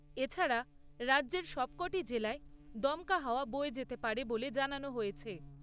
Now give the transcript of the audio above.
এছাড়া, রাজ্যের সবক'টি জেলায় দমকা হওয়া বয়ে যেতে পারে বলে জানানো হয়েছে।